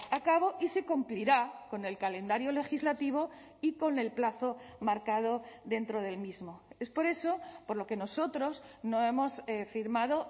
a cabo y se cumplirá con el calendario legislativo y con el plazo marcado dentro del mismo es por eso por lo que nosotros no hemos firmado